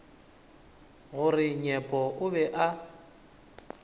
gore nyepo o be a